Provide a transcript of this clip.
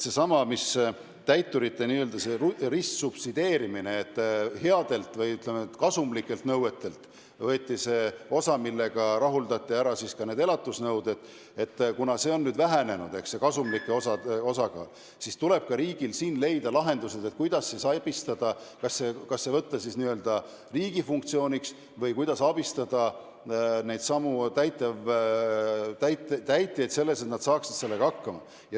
On toimunud täiturite n-ö ristsubsideerimine, kasumlike nõuete pealt võeti osa, millega rahuldati ära elatisnõuded, aga kasumlike nõuete osakaal on vähenenud ja riigil tuleb leida lahendused, kuidas abistada, kas võtta need n-ö riigi funktsiooniks või abistada täitjaid, et nad saaksid sellega hakkama.